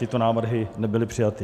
Tyto návrhy nebyly přijaty.